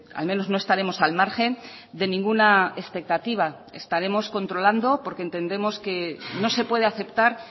al menos no estaremos al margen de ninguna expectativa estaremos controlando porque entendemos que no se puede aceptar